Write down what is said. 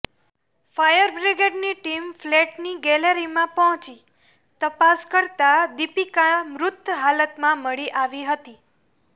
fire બ્રિગેડની team ફ્લેટની ગેલેરીમાં પહોંચી તપાસ કરતા દીપિકા મૃત હાલતમાં મળી આવી હતી